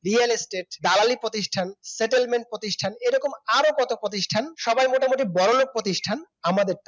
real estate দালালি প্রতিষ্ঠান settlement প্রতিষ্ঠান এরকম আরো কত প্রতিষ্ঠান সবাই মোটামুটি বড়লোক প্রতিষ্ঠান আমাদের টাকায়